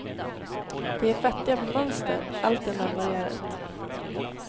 De är fattiga på mönster, allt är marmorerat.